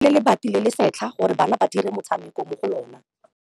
Ba rekile lebati le le setlha gore bana ba dire motshameko mo go lona.